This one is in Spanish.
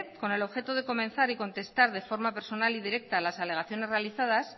con el objeto de comenzar y contestar de forma personal y directa las alegaciones realizadas